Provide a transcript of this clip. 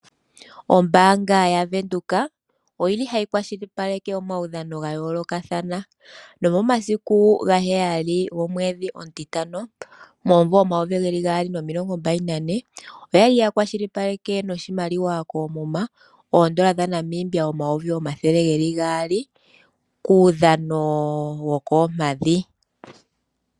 Ombaanga yaWindhoek oyili hayi kwashilipaleke omaudhigu gayoolokathana nomomasiku 07. 05. 2024, oyali yakwashilipaleke noshimaliwa koomuma $200 000 kuudhano wokoompadhi.